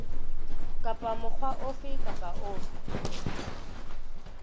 kapa mokga ofe kapa ofe